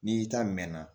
N'i ta mɛnna